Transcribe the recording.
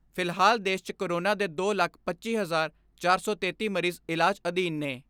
ਫਿਲਹਾਲ ਦੇਸ਼ 'ਚ ਕੋਰੋਨਾ ਦੇ ਦੋ ਲੱਖ ਪੱਚੀ ਹਜ਼ਾਰ ਚਾਰ ਸੌ ਤੇਤੀ ਮਰੀਜ ਇਲਾਜ ਅਧੀਨ ਨੇ।